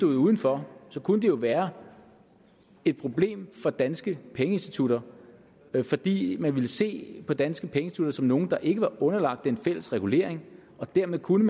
uden for kunne det jo være et problem for danske pengeinstitutter fordi man ville se på de danske pengeinstitutter som nogle der ikke var underlagt den fælles regulering og dermed kunne